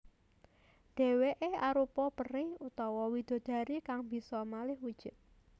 Dhèwèké arupa peri utawa widodari kang bisa malih wujud